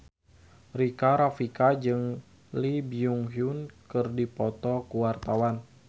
Rika Rafika jeung Lee Byung Hun keur dipoto ku wartawan